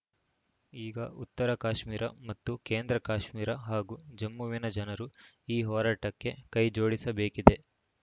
ಈಗ ಉತ್ತರ ಕಾಶ್ಮೀರ ಮತ್ತು ಕೇಂದ್ರ ಕಾಶ್ಮೀರ ಹಾಗೂ ಜಮ್ಮುವಿನ ಜನರು ಈ ಹೋರಾಟಕ್ಕೆ ಕೈ ಜೋಡಿಸಬೇಕಿದೆ